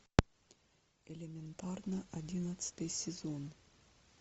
элементарно одиннадцатый сезон